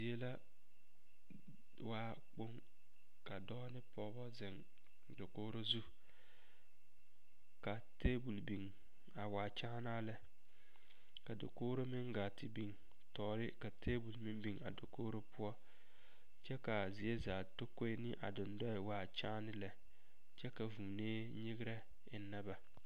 Die la waa kpoŋ ka dɔɔ ne pɔge zeŋ dakogro zu ka tabol biŋ a waa kyããnaa lɛ ka dakogro meŋ gaa te biŋ tɔɔre ka tabol meŋ biŋ a dakogro poɔ kyɛ k,a zie zaa takoe ne a dendɔɛ waa kyããne lɛ kyɛ ka vuunee nyegrɛ eŋnɛ ba.